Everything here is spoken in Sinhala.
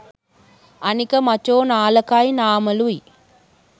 අනික මචෝ නාලකයි නාමලුයි